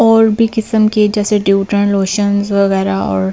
और भी किस्म के जैसे लोशन्स वगैरा और औ --